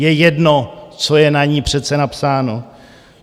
Je jedno, co je na ní přece napsáno.